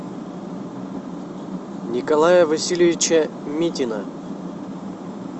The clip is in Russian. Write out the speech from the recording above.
николая васильевича митина